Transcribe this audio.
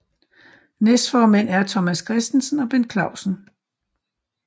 Næstformænd er Thomas Christensen og Bent Clausen